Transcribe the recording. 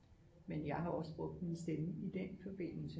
Men jeg har jo også brugt min stemme i den forbindelse